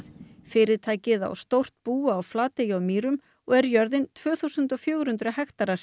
fyrirtækið á stórt bú á Flatey á Mýrum og er jörðin tvö þúsund og fjögur hundruð hektarar